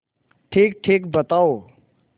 ठीकठीक बताओ